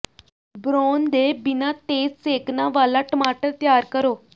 brown ਦੇ ਬਿਨਾਂ ਤੇਜ਼ ਸੇਕਣਾ ਵਾਲਾ ਟਮਾਟਰ ਤਿਆਰ ਕਰੋ